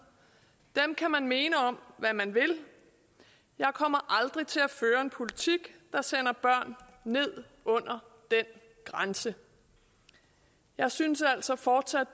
dem kan man mene om hvad man vil jeg kommer aldrig til at føre en politik der sender børn ned under den grænse jeg synes altså fortsat